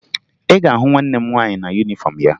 Ị ga-ahụ nwanne m nwaanyị na yunifọmụ ya